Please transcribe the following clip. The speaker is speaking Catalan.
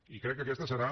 i crec que aquesta serà